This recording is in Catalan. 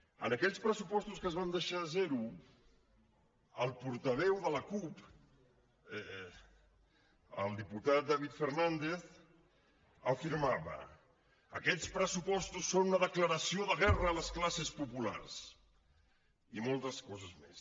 en aquells pressupostos que es van deixar a zero el portaveu de la cup el diputat david fernàndez afirmava aquests pressupostos són una declaració de guerra a les classes populars i moltes coses més